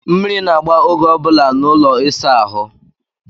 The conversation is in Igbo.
Mmiri na-agba oge ọ bụla n'ụlọ ịsa ahụ.